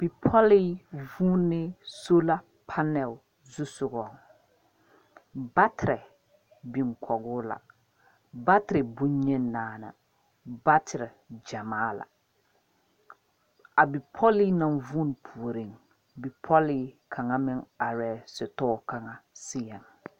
Bipolee vuneɛ sola pannel zusɔgo. Baterɛ biŋ kɔge o la. Baterɛ bon yeni naani. Baterɛ gyamaa la. A bipole na vune pooreŋ, bipolee kanga meŋ areɛ sitoɔ kanga seɛŋ